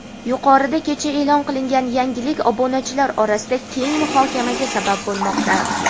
Yuqorida kecha e’lon qilingan yangilik obunachilar orasida keng muhokamaga sabab bo‘lmoqda.